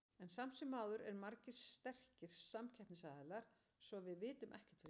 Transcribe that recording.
En samt sem áður eru margir sterkir samkeppnisaðilar, svo að við vitum ekkert fyrir víst.